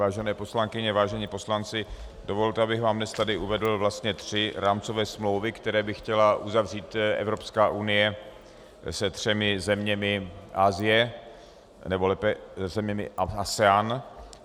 Vážené poslankyně, vážení poslanci, dovolte, abych vám dnes tady uvedl vlastně tři rámcové smlouvy, které by chtěla uzavřít Evropská unie se třemi zeměmi Asie, nebo lépe zeměmi ASEANu.